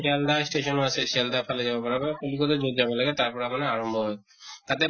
Sealdah station আছে ছেলদাৰ ফালে যাব পাৰা কলিকত্তা যʼত যাব লাগে তাৰ পৰা মানে আৰম্ভ হয়। তাত